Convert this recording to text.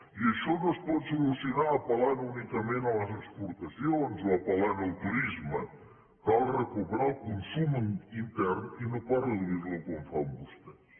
i això no es pot solucionar apel·lant únicament a les exportacions o apel·lant al turisme cal recuperar el consum intern i no pas reduir lo com fan vostès